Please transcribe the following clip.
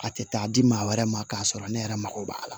A tɛ taa di maa wɛrɛ ma k'a sɔrɔ ne yɛrɛ mako b'a la